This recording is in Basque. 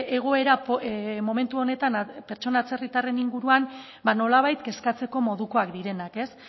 egoera momentu honetan pertsona atzerritarren inguruan ba nolabait kezkatzeko modukoak direnak ez